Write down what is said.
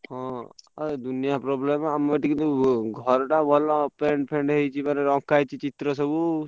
ହଁ ଦୁନିଆ problem ଆମ ଏଠି ତ ଘର ଟା ଭଲ ।